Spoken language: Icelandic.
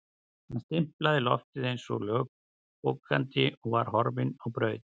Hann stimplaði loftið eins og lögbókandi og var horfinn á braut.